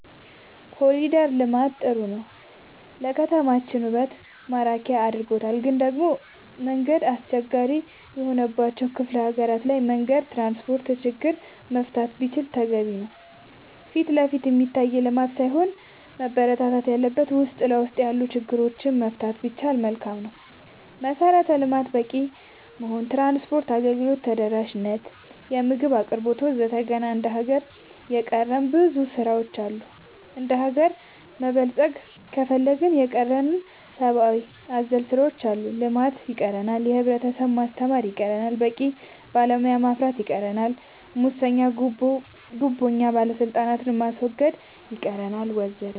ኮሊደር ልማት ጥሩ ነው ለከተማችን ውበት ማራኪ አርጎታል ግን ደሞ መንገድ አስቸጋሪ የሆነባቸው ክፍለ ሀገራት ላይ መንገድ ትራንስፖርት ችግር መፈታት ቢችል ተገቢ ነው ፊትለፊት የሚታይ ልማት ሳይሆን መበረታታት ያለበት ውስጥ ለውስጥ ያሉ ችግሮች መፍታት ቢቻል መልካም ነው መሰረተ ልማት በቂ መሆን ትራንስፓርት አገልግሎት ተደራሽ ነት የምግብ አቅርቦት ወዘተ ገና እንደ ሀገር የቀረን ብዙ ስራ ዎች አሉ እንደሀገር መበልፀግ ከፈለግን የቀረን ሰባአዊ አዘል ስራዎች አሉ ልማት ይቀረናል የህብረተሰብ ማስተማር ይቀረናል በቂ ባለሙያ ማፍራት ይቀረናል ሙሰኛ ጉቦኛ ባለስልጣናት ማስወገድ ይቀረናል ወዘተ